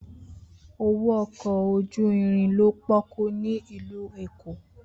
Owo ọkọ oju-irin lo poku ni ilu Eko.